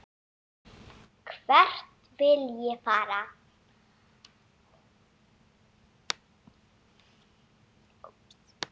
Hvert vil ég fara?